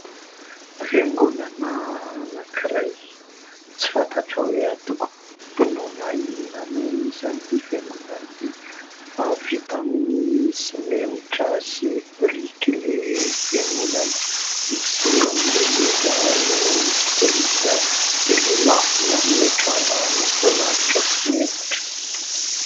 Fiangonana anankiray, tsy fantatra hoe antokom-pinoana inona no misy an'ity fiangonana ity ; fa vita amin'ny simenitra sy biriky ilay fiangonana. Ny zoron'ilay izy no misy biriky, dia ilay lafiny amin'ilay trano no voalalotra simenitra.